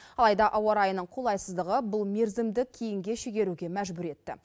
алайда ауа райының қолайсыздығы бұл мерзімді кейінге шегеруге мәжбүр етті